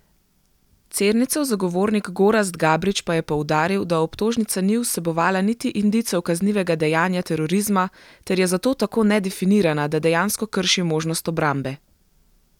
Cernicev zagovornik Gorazd Gabrič pa je poudaril, da obtožnica ni vsebovala niti indicev kaznivega dejanja terorizma ter je zato tako nedefinirana, da dejansko krši možnost obrambe.